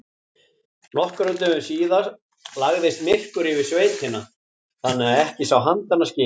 Nokkrum dögum síðar lagðist myrkur yfir sveitina þannig að ekki sá handa skil.